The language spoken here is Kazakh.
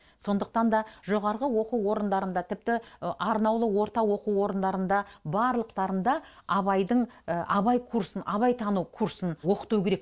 сондықтан да жоғарғы оқу орындарында тіпті арнаулы орта оқу орындарында барлықтарында абайдың абай курсын абайтану курсын оқыту керек